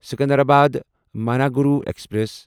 Secunderabad Manuguru express